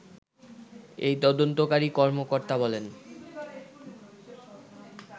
এই তদন্তকারী কর্মকর্তা বলেন